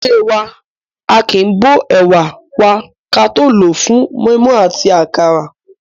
Nílé wa, aàkín bó ẹ̀wà wa ka tó lòó fún mọ́ímọ́í àti àkàrà.